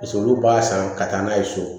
Paseke olu b'a san ka taa n'a ye so